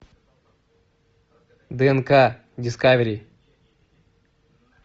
днк дискавери